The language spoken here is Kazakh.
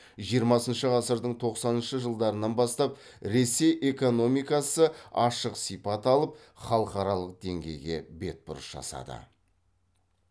жиырмасыншы ғасырдың тоқсаныншы жылдарынан бастап ресей экономикасы ашық сипат алып халықаралық деңгейге бетбұрыс жасады